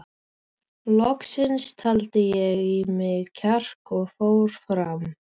Loks taldi ég í mig kjark og fór fram.